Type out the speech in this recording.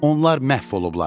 Onlar məhv olublar.